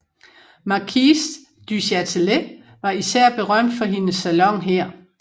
Marquise du Châtelet var især berømt for hendes salon her